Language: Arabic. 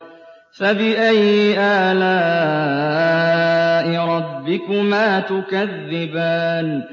فَبِأَيِّ آلَاءِ رَبِّكُمَا تُكَذِّبَانِ